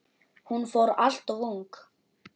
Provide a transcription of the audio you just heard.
Hún fór alltof ung.